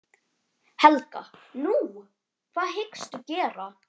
Helga: Nú, hvað hyggstu gera?